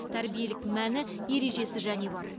тәрбиелік мәні ережесі және бар